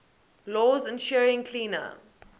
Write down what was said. laws ensuring cleaner